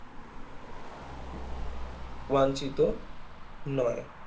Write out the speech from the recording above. অবাঞ্চিত নয়